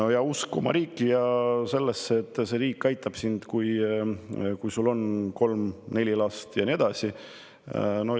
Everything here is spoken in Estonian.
Kas neil on usk oma riiki ja sellesse, et riik aitab neid, kui neil on kolm-neli last, ja nii edasi?